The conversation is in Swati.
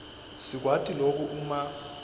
sikwati loku uma